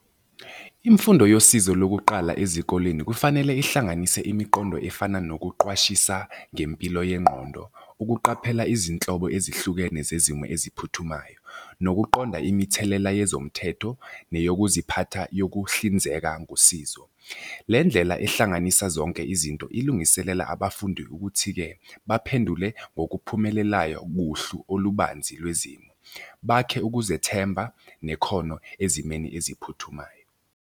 Imfundo yosizo lokuqala ezikoleni kufanele ihlanganise imiqondo efana nokuqwashisa ngempilo yengqondo, ukuqaphela izinhlobo ezihlukene zezimo eziphuthumayo, nokuqonda imithelela yezomthetho neyokuziphatha yokuhlinzeka ngosizo. Le ndlela ehlanganisa zonke izinto ilungiselela abafundi ukuthi-ke baphendule ngokuphumelelayo kuhlu olubanzi lwezimo. Bakhe ukuzethemba nekhono ezimweni eziphuthumayo.